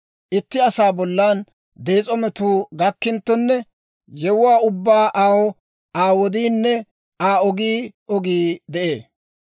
Itti asaa bollan dees'o metuu gakkinttonne, yewuwaa ubbaw aw Aa wodiinne Aa ogii ogii de'ee.